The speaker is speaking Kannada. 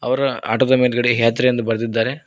ಅವ್ರ್ ಆಟೋ ದ ಮೇಲ್ಗಡೆ ಯಾತ್ರಿ ಎಂದು ಬರೆದಿದ್ದಾರೆ.